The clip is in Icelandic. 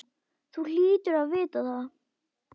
Þú hlýtur að vita það.